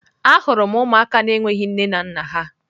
Ahụrụ m ụmụaka na-enweghị nne na nna ha.